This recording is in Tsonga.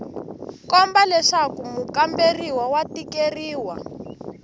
komba leswaku mukamberiwa wa tikeriwa